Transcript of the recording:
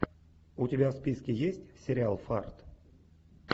у тебя в списке есть сериал фарт